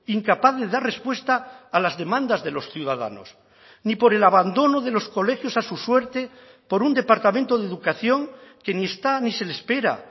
incapaz de dar respuesta a las demandas de los ciudadanos ni por el abandono de los colegios a su suerte por un departamento de educación que ni está ni se le espera